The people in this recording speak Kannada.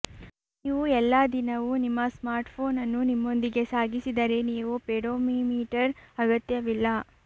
ನೀವು ಎಲ್ಲಾ ದಿನವೂ ನಿಮ್ಮ ಸ್ಮಾರ್ಟ್ಫೋನ್ ಅನ್ನು ನಿಮ್ಮೊಂದಿಗೆ ಸಾಗಿಸಿದರೆ ನೀವು ಪೆಡೋಮೀಮೀಟರ್ ಅಗತ್ಯವಿಲ್ಲ